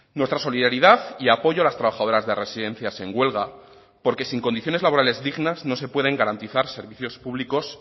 nuestra solidaridad y apoyo a las trabajadoras de residencias en huelga porque sin condiciones laborales dignas no se pueden garantizar servicios públicos